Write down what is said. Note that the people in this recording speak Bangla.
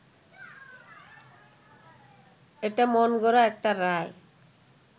এটা মনগড়া একটা রায়